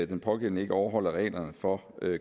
den pågældende ikke overholder reglerne for